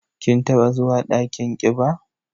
Kin taɓa zuwa dakin ƙiba?